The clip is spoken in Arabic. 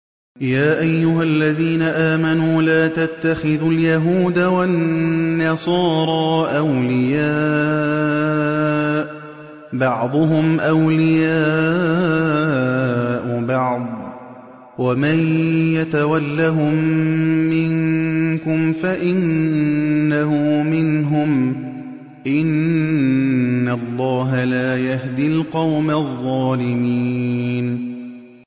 ۞ يَا أَيُّهَا الَّذِينَ آمَنُوا لَا تَتَّخِذُوا الْيَهُودَ وَالنَّصَارَىٰ أَوْلِيَاءَ ۘ بَعْضُهُمْ أَوْلِيَاءُ بَعْضٍ ۚ وَمَن يَتَوَلَّهُم مِّنكُمْ فَإِنَّهُ مِنْهُمْ ۗ إِنَّ اللَّهَ لَا يَهْدِي الْقَوْمَ الظَّالِمِينَ